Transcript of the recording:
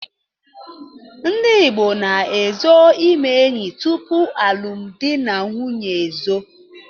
Ndi Igbo na-ezo ime enyi tupu alụm dị na nwunye ezo.